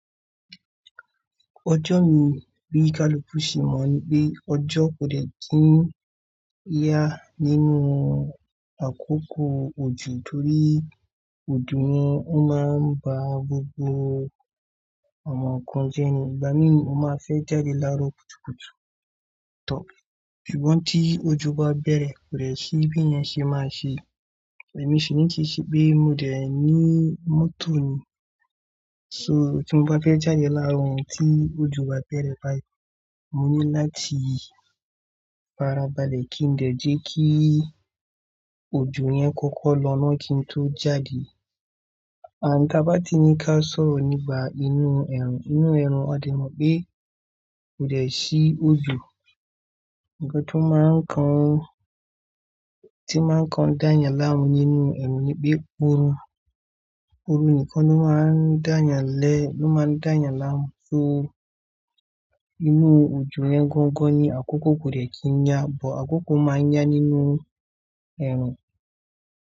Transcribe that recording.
Ọjọ́ mi bíi kálú bú sí mọ̀ ní pé ọjọ́ kò lè dín yá nínú àkókò òjò torí òjò yẹn ó máa ń ba gbogbo àwọn nǹkan jẹ́ ní. Ìgbà mí ní mo má fẹ́ jáde láró kùtùkùtù tán ṣùgbọ́n tí ojú bá bẹ̀rẹ̀ kò rẹ̀ sí bí ẹ́ ṣe máa ṣe. Ẹ̀mí sì ní ti ṣe pé mo dẹ̀ ní mọ́tò ni, so tí mo bá fẹ́ jáde lárò tí ojú bá bẹ̀rẹ̀ báyìí, mo ní láti fara balẹ̀ kí n dẹ̀ jẹ́ kí òjò yẹn kọ́kọ́ lọ́ná kí n tó jáde. Àní ká bá ti ní ká sọ̀rọ̀ nípa inú ẹ̀rù. Inú ẹ̀rù, a dẹ̀ mọ̀ pé kò rẹ̀ sí òjò. Ǹkan tí máa ń kan, tí máa ń kan dányàn láàrin nínú ẹ̀rù ni pé òru. Òru nìkan ló máa ń dányàn lẹ́, ló máa ń dányàn láàrin. So inú òjò yẹn gọ́ńgọ́ń ni, àkókò kò rẹ̀ kí n yá bó àkókò máa ń yá nínú ẹ̀rù.